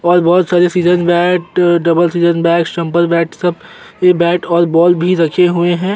बोहोत सारे season bat double season बै बैट सब ए बैट और बॉल भी रखे हुए हैं।